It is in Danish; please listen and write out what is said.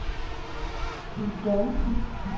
Budolfi